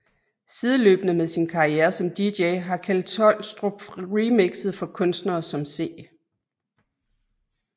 Sideløbende med sin karriere som dj har Kjeld Tolstrup remixet for kunstnere som C